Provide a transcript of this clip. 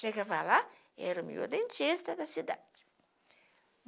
Chega para lá, era o meu dentista da cidade.